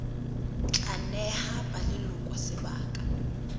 tla neha ba leloko sebaka